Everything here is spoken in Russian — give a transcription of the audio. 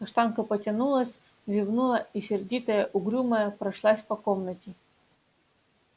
каштанка потянулась зевнула и сердитая угрюмая прошлась по комнате